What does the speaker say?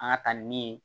An ka taa ni min ye